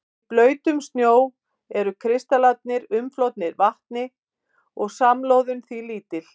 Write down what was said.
Í blautum snjó eru kristallarnir umflotnir vatni og samloðun því lítil.